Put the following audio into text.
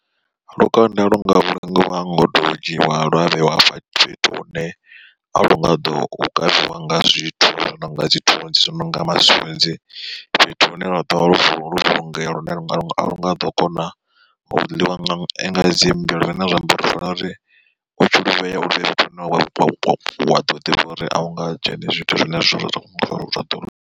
Lukanda lu nga vhulungiwa ngoto dzhiwa lwa vheiwa hafha fhethu hune a lu nga ḓo kavhiwa nga zwithu zwo no nga dzi thunzi zwi nonga masunzi. Fhethu hune lwa ḓovha lo vuliwa lwo vhulungea lune a lu nga ḓo kona u ḽiwa nga dzi mmbwa zwine zwa amba uri ri fanela uri u tshi luvhea fhethu hune wa ḓivha uri a hu nga ndzheni zwithu zwine zwa ḓo ḽiwa.